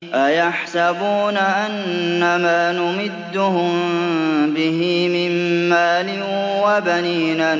أَيَحْسَبُونَ أَنَّمَا نُمِدُّهُم بِهِ مِن مَّالٍ وَبَنِينَ